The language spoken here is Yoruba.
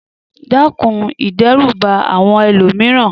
Dẹ́kun ìdẹ́rùbà àwọn ẹlòmíràn